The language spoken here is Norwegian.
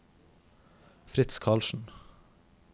Fritz Karlsen